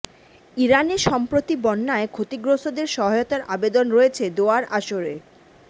ইরানে সম্প্রতি বন্যায় ক্ষতিগ্রস্তদের সহায়তার আবেদন রয়েছে দোয়ার আসরে